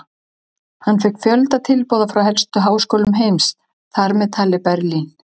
Hann fékk fjölda tilboða frá helstu háskólum heims, þar með talið Berlín.